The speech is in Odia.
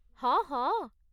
ହଁ, ହଁ।